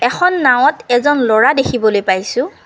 এখন নাওঁত এজন ল'ৰা দেখিবলৈ পাইছোঁ।